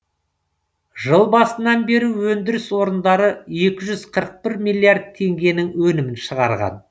жыл басынан бері өндіріс орындары екі жүз қырық бір миллиард теңгенің өнімін шығарған